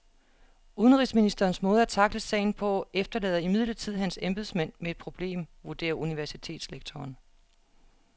Udenrigsministerens måde at tackle sagen på efterlader imidlertid hans embedsmænd med et problem, vurderer universitetslektoren.